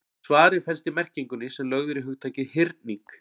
Svarið felst í merkingunni sem lögð er í hugtakið hyrning.